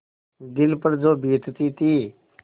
दिल पर जो बीतती थी